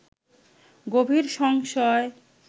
গভীর সংশয়